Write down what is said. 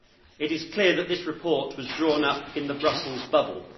It is clear that this report was drawn up in the Brussels bubble.